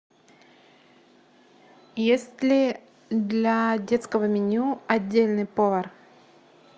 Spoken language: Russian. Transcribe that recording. есть ли для детского меню отдельный повар